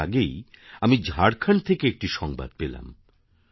একটু আগেই আমি ঝাড়খন্ড থেকে একটি সংবাদ পেলাম